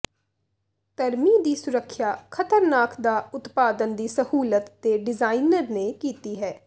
ਧਰਮੀ ਦੀ ਸੁਰੱਖਿਆ ਖਤਰਨਾਕ ਦਾ ਉਤਪਾਦਨ ਦੀ ਸਹੂਲਤ ਦੇ ਡਿਜ਼ਾਇਨਰ ਨੇ ਕੀਤੀ ਹੈ